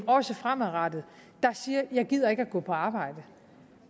også fremadrettet der siger jeg gider ikke gå på arbejde